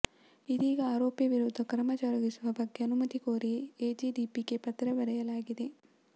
ಇದೀಗ ಆರೋಪಿ ವಿರುದ್ಧ ಕ್ರಮ ಜರುಗಿಸುವ ಬಗ್ಗೆ ಅನುಮತಿ ಕೋರಿ ಎಡಿಜಿಪಿಗೆ ಪತ್ರ ಬರೆಯಲಾಗಿದೆ